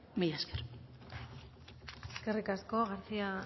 mila esker eskerrik asko garcía